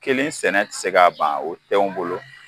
Kelen sɛnɛ ti se k'a ban o tɛnw bolo